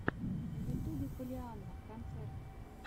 на ютубе поллианна концерт